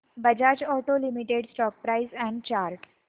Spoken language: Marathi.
Bajaj auto limited stock price and chart